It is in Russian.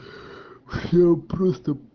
всё просто